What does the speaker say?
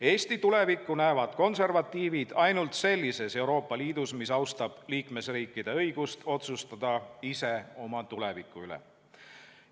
Eesti tulevikku näevad konservatiivid ainult sellises Euroopa Liidus, mis austab liikmesriikide õigust otsustada ise oma tuleviku üle.